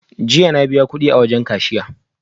Jiya na biya wa mai kudi